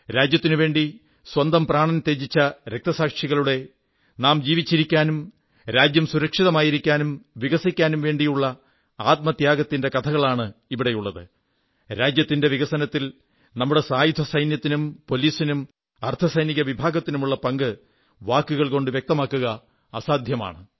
രാജ്യത്തിനുവേണ്ടി സ്വന്തം പ്രാണൻ ത്യജിച്ച രക്തസാക്ഷികളുടെ നാം ജീവിച്ചിരിക്കാനും രാജ്യം സുരക്ഷിതമായിരിക്കാനും വികസിക്കാനും വേണ്ടിയുള്ള ആത്മത്യാഗത്തിന്റെ കഥയാണിവിടെയുള്ളത് രാജ്യത്തിന്റെ വികസനത്തിൽ നമ്മുടെ സായുധസൈന്യത്തിനും പോലീസിനും അർധസൈനിക വിഭാഗത്തിനുമുള്ള പങ്ക് വാക്കുകൾ കൊണ്ട് വ്യക്തമാക്കുക അസാധ്യമാണ്